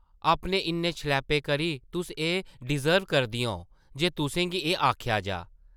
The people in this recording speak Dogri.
अपने इन्ने शलैपे करी तुस एह् डिज़र्व करदियां ओ जे तुसें गी एह् आखेआ जाऽ ।